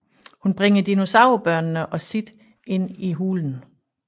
Hun bringer dinosaur børnene og Sid ind i hulen